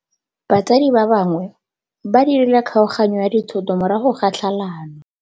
Batsadi ba gagwe ba dirile kgaoganyô ya dithoto morago ga tlhalanô.